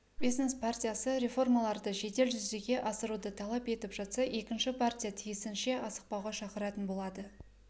бизнес партиясы реформаларды жедел жүзеге асыруды талап етіп жатса екінші партия тиісінше асықпауға шақыратын болады